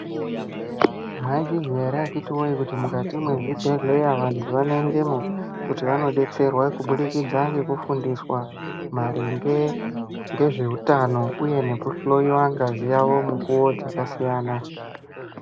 Maizviziya ere akaiti wee mukati mwe zvibhedhleya vantu vano endemwo kuti vano detserwa kubudikidza ngeku fundiswa maringe nge zveutano uye nge kuhloyiwa ngazi dzavo mukuvo dzaka siyana.